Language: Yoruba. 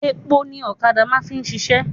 Epo ni ọ̀kadà máà ń fi ṣiṣẹ́.